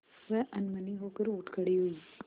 वह अनमनी होकर उठ खड़ी हुई